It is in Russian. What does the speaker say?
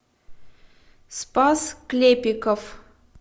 спас клепиков